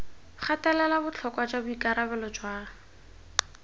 gatelela botlhokwa jwa boikarabelo jwa